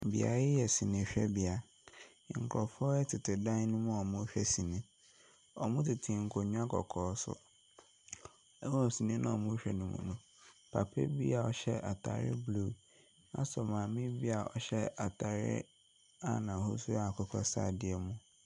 Beaeɛ yi yɛ sinihwɛbea. Nkurɔfoɔ tete dan no mu a wɔrehwɛ sini. Wɔtete nkonnwa kɔkɔɔ so. Wɔ sii no a wɔrehwɛ no mu no, papa bi a ɔhyɛ atadeɛ blue asɔ maame bi a ɔhyɛ atadeɛ a n'ahosuo yɛ akokɔsradeɛ mu.